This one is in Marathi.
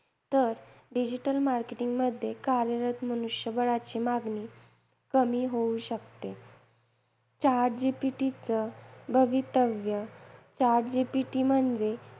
तर digital marketing मध्ये कार्यरत मनुष्यबळाची मागणी कमी होऊ शकते. Chat GPT चं भवितव्य, Chat GPT म्हणजे